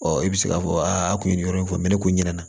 Ɔ i bɛ se k'a fɔ a kun ye nin yɔrɔ in fɔ mɛ ne kun ɲɛna